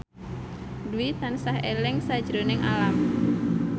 Dwi tansah eling sakjroning Alam